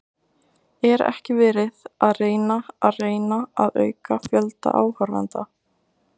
Er ekki verið að reyna að reyna að auka fjölda áhorfenda?